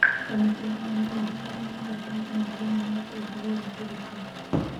Kamĩtĩ ya mamĩnĩcita nĩ ya bata mũno thĩiniĩ wa ũtongoria wa thirĩkari.